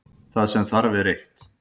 Það sem þarf er eitt.